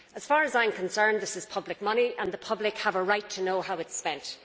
As far as I am concerned, this is public money, and the public have a right to know how it is spent.